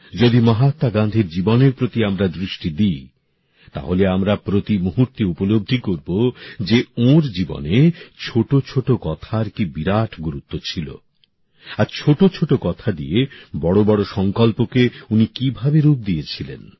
যদি মহাত্মা গান্ধীর জীবনের প্রতি আমরা দৃষ্টি দিই তাহলে আমরা প্রতি মুহূর্তে উপলব্ধি করব যে ওঁর জীবনে ছোট ছোট কথার কি বিরাট গুরুত্ব ছিল আর ছোট ছোট কথা দিয়ে বড় বড় সংকল্পকে উনি কিভাবে রূপ দিয়েছিলেন